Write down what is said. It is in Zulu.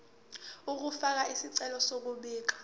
ukufaka isicelo sokubika